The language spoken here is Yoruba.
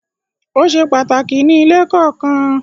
Ó se pàtàkì ní ilé kọ̀ọ̀kan.